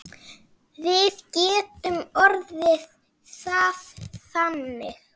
Við getum orðað það þannig.